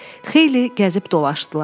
Xeyli gəzib dolaşdılar.